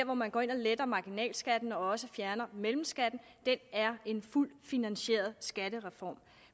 hvor man går ind og letter marginalskatten og også fjerner mellemskatten er en fuldt finansieret skattereform